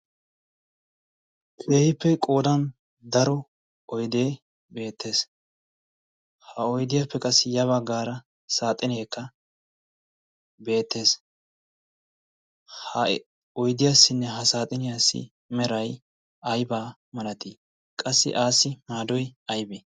peehiippe qoodan daro oydee beettees. ha oidiyaappe qassi yaba gaara saaxineekka beettees.ha oydiyaassinne ha saaxiniyaassi merai aybaa malatii? qassi aassi maadoi aybee?